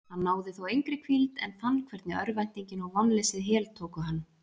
Hann náði þó engri hvíld en fann hvernig örvæntingin og vonleysið heltóku hann.